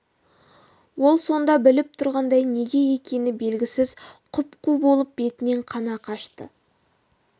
ол сонда біліп тұрғандай неге екені белгісіз құп-қу болып бетінен қаны қашты